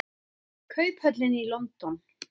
Kauphöllin í London.